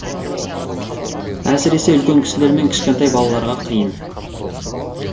әсіресе үлкен кісілер мен кішкентай балаларға қиын